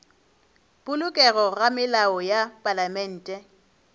polokego ga melao ya palamente